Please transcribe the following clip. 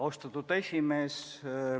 Austatud esimees!